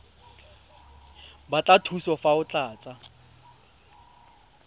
batla thuso fa o tlatsa